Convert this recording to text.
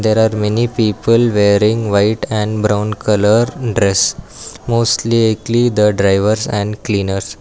There are many people wearing white and brown colour dress mostly the driver and cleaners.